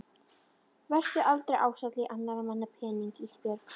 Vertu aldrei ásælin í annarra manna peninga Ísbjörg.